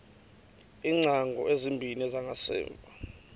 iingcango ezimbini zangasemva